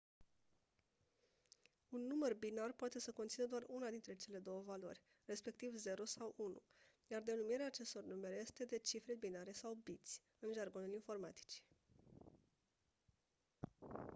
un număr binar poate să conțină doar una dintre cele două valori respectiv 0 sau 1 iar denumirea acestor numere este de cifre binare sau biți în jargonul informaticii